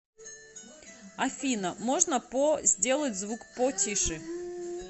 афина можно по сделать звук по тише